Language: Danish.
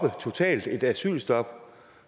et totalt asylstop